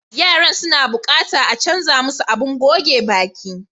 Yaran suna buƙatan a canza musu abin goge baƙi.